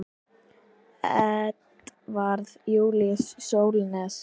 Edvarð Júlíus Sólnes.